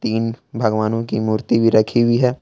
इन भगवानों की मूर्ति भी रखी हुई है।